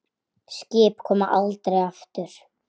Skip koma aldrei aftur.